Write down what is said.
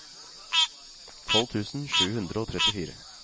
tolv tusen sju hundre og trettifire